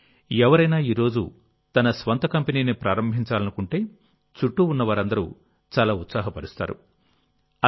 కానీ ఎవరైనా ఈరోజు తన స్వంత కంపెనీని ప్రారంభించాలనుకుంటేచుట్టూ ఉన్న వారందరూ చాలా ఉత్సాహపరుస్తారు